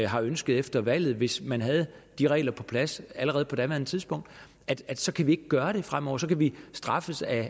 har ønsket efter valget hvis man havde de regler på plads allerede på daværende tidspunkt at så kan vi ikke gøre det fremover så kan vi straffes af